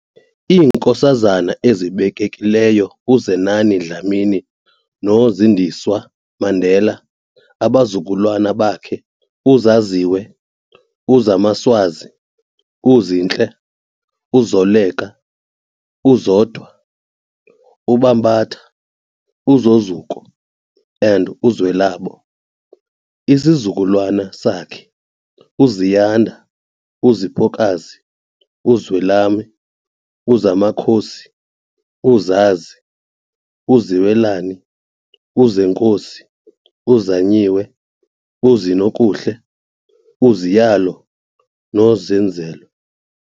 IiNkosazana ezibekekileyo uZenani Dlamini noZindiswa Mandela, abazukulwana bakhe- uZaziwe, uZamaswazi, uZinhle, uZoleka, uZondwa, uBambatha, uZozuko and uZwelabo- isizukulwane sakhe- uZiyanda, uZiphokazi, uZwelami, uZamakhosi, uZazi, uZiwelane, uZenkosi, uZanyiwe, uZinokuhle, uZiyalo noZenzelwe.